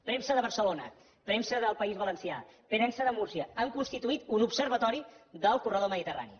premsa de barcelona premsa del país valencià premsa de múrcia han constituït un observatori del corredor mediterrani